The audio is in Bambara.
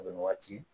O bɛ waati